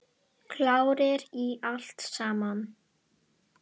Klárir í allt saman?